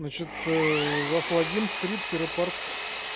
значит у вас логин стрип тире парт